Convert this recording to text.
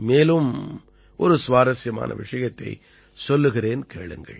மேலும் ஒரு சுவாரசியமான விஷயத்தைச் சொல்கிறேன் கேளுங்கள்